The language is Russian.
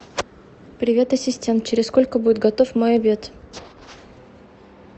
привет ассистент через сколько будет готов мой обед